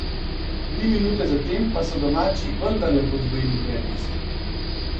Tri minute zatem pa so domači vendarle podvojili prednost.